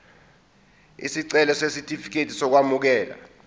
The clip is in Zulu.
isicelo sesitifikedi sokwamukeleka